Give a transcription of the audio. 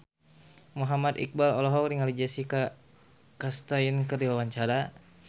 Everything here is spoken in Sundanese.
Muhammad Iqbal olohok ningali Jessica Chastain keur diwawancara